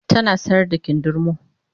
tana sayar da kindirmo